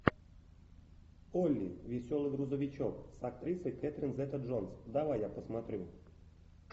олли веселый грузовичок с актрисой кэтрин зета джонс давай я посмотрю